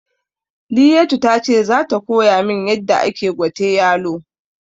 Liyatu tace zata koyamin yadda ake gwate yalo